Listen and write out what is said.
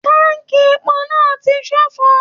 Tánkí èpo náà tí ṣofo.